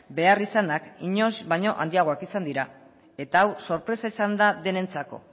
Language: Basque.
beharrizanak inoiz baino handiagoak izan dira eta hau sorpresa izan da denentzako